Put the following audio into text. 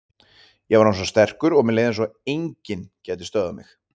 Ég var orðinn svo sterkur og mér leið eins og að enginn gæti stöðvað mig.